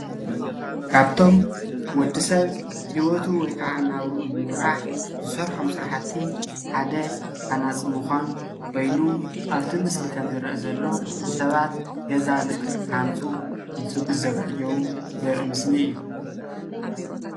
ካብቶም ወዲሰብ ሂወቱ ወይ ከዓ ናብሩኡ ንምምራሕ ዝሰርሖም ስርሓቲ ሓደ ሃናፂ ሙኻን ወይንም አብቲ ምስሊ ከምዝርአ ዘሎ ኮይኑ ሰባት ገዛ ንክሃንፁ እንትዘጋጀው ዘሪኢ ምስሊ እዩ።